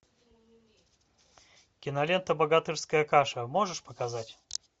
кинолента богатырская каша можешь показать